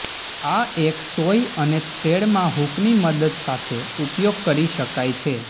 આ એક સોય અને થ્રેડ માં હૂક ની મદદ સાથે ઉપયોગ કરી શકાય છે